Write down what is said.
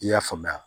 I y'a faamuya